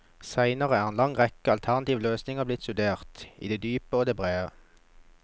Senere er en lang rekke alternative løsninger blitt studert i det dype og det brede.